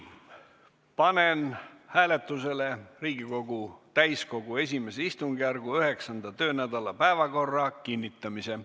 Panen hääletusele Riigikogu täiskogu I istungjärgu 9. töönädala päevakorra kinnitamise.